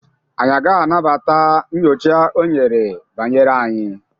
anyị agaghị anabata nyocha o nyere banyere anyị